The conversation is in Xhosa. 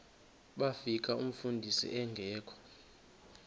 bafika umfundisi engekho